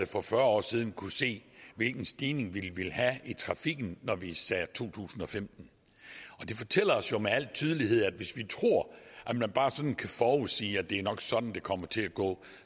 for fyrre år siden kunne se hvilken stigning vi ville have i trafikken når vi sagde to tusind og femten det fortæller os jo med al tydelighed at hvis vi tror at man bare sådan kan forudsige at det nok er sådan det kommer til at gå